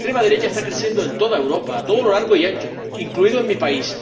La extrema derecha está creciendo en toda Europa, a todo lo largo y ancho, incluido mi país.